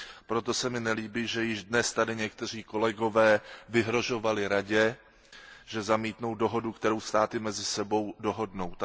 Proto se mi nelíbí, že již dnes tady někteří kolegové vyhrožovali Radě, že zamítnou dohodu, kterou státy mezi sebou dohodnou.